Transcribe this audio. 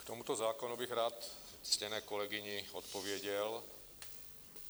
K tomuto zákonu bych rád ctěné kolegyni odpověděl.